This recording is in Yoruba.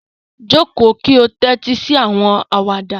Joko ki o tẹtisi awọn awada